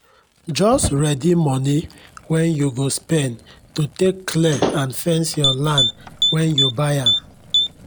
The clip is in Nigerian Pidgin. jus readi moni wen u go spend to take clear and fence your land wen u buy am